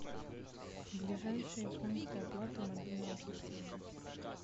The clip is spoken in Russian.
ближайшие пункты оплаты мобильного телефона